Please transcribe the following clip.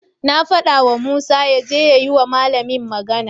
Na fadawa Musa yaje ya yi wa malamin magana.